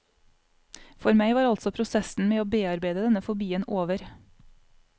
For meg var altså prosessen med å bearbeide denne fobien over.